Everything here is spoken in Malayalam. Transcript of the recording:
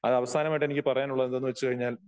അവസാനമായിട്ട് എനിക്ക് പറയാനുള്ളത് എന്തെന്ന് വച്ചുകഴിഞ്ഞാൽ